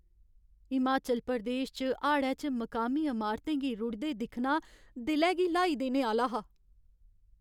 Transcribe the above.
हिमाचल प्रदेश च हाड़ै च मकामी अमारतें गी रुढ़दे दिक्खना दिलै गी ल्हाई देने आह्‌ला हा।